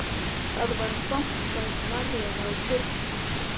Það var bankað varlega á dyrnar.